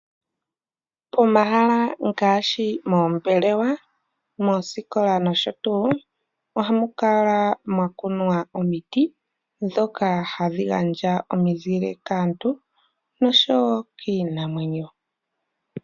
Pomahala ngaashi moombelewa, moosikola noshotu ohamu kala mwa kunwa omiti dhoka hadhi gandja omizile kaantu noshowo kiinamwenyo.